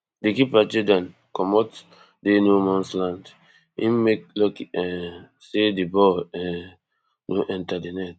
di keeper geordan comot dey no mans land im make lucky um say di ball um no enta di net